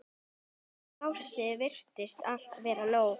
Plássið virtist alltaf vera nóg.